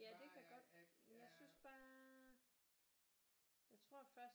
Ja det kan godt jeg synes bare jeg tror først